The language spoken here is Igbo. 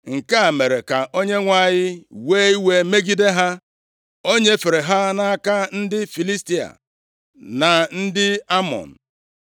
Nke a mere ka Onyenwe anyị wee iwe megide ha. O nyefere ha nʼaka ndị Filistia na ndị Amọn,